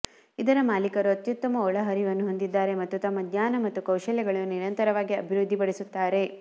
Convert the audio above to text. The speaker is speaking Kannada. ಇದರ ಮಾಲೀಕರು ಅತ್ಯುತ್ತಮ ಒಳಹರಿವನ್ನು ಹೊಂದಿದ್ದಾರೆ ಮತ್ತು ತಮ್ಮ ಜ್ಞಾನ ಮತ್ತು ಕೌಶಲ್ಯಗಳನ್ನು ನಿರಂತರವಾಗಿ ಅಭಿವೃದ್ಧಿಪಡಿಸುತ್ತಾರೆ